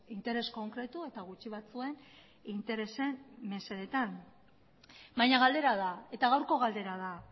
interes konkretu eta gutxi batzuen interesen mesedetan baina galdera da eta gaurko galdera da